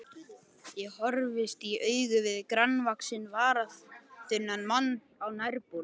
Ég horfist í augu við grannvaxinn, varaþunnan mann á nærbol.